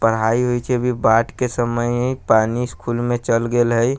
पढ़ाई होय छै अभी बाढ़ के समय है पानी स्कूल में चेल गेल हई।